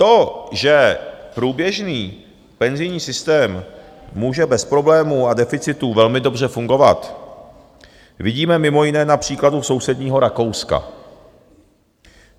To, že průběžný penzijní systém může bez problémů a deficitů velmi dobře fungovat, vidíme mimo jiné na příkladu sousedního Rakouska.